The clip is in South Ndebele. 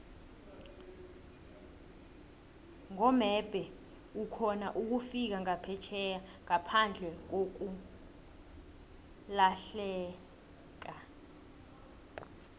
nqomebhe ukhona ukufika nqaphetjheya nqaphandlekakulahieka